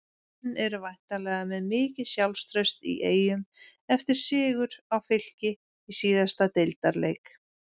Menn eru væntanlega með mikið sjálfstraust í Eyjum eftir sigur á Fylki í síðasta deildarleik?